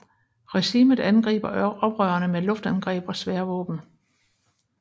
Regimet angriber oprørerne med luftangreb og svære våben